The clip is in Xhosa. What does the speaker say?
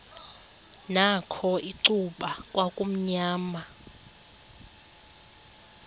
nakho icuba kwakumnyama